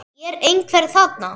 Er einhver þarna?